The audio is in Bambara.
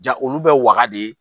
Ja olu bɛ waga de